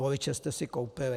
Voliče jste si koupili.